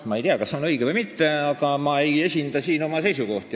Ma ei tea, kas see on õige või mitte, aga ma ei esinda siin oma seisukohti.